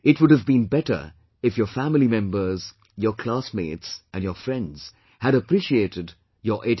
It would have been better if your family members, your class mates and your friends had appreciated your 89